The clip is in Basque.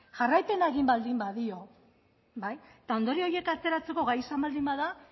jarraipena egin baldin badio eta ondorio horiek ateratzeko gai izan baldin bada